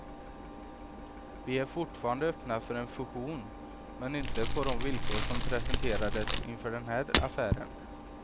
Vi är fortfarande öppna för en fusion, men inte på de villkor som presenterades inför den här affären.